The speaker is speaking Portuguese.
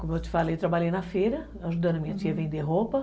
Como eu te falei, trabalhei na feira, aham, ajudando a minha tia a vender roupa.